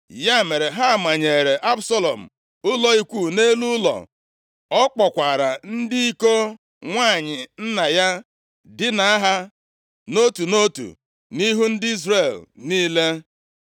Ya mere, ha manyeere Absalọm ụlọ ikwu nʼelu ụlọ; ọ kpọkwaara ndị iko nwanyị nna ya dinaa ha nʼotu nʼotu, nʼihu ndị Izrel niile.